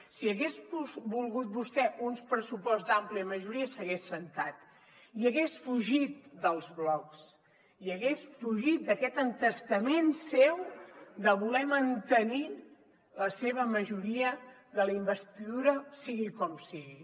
si hagués volgut vostè un pressupost d’àmplia majoria s’hagués assegut i hagués fugit dels blocs i hagués fugit d’aquest entestament seu de voler mantenir la seva majoria de la investidura sigui com sigui